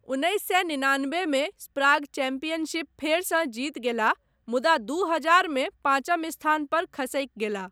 उन्नैस सए निनानबेमे स्प्राग चैंपियनशिप फेरसँ जीति गेलाह मुदा दू हजारमे पाँचम स्थान पर खसकि गेलाह।